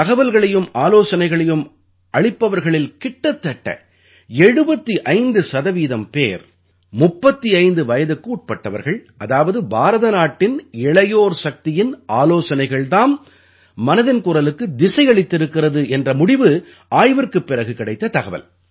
தகவல்களையும் ஆலோசனைகளையும் அளிப்பவர்களில் கிட்டத்தட்ட 75 சதவீதம் பேர் 35 வயதுக்குட்பட்டவர்கள் அதாவது பாரத நாட்டின் இளையோர் சக்தியின் ஆலோசனைகள் தாம் மனதின் குரலுக்கு திசையளித்திருக்கிறது என்ற முடிவு ஆய்விற்குப் பிறகு கிடைத்த தகவல்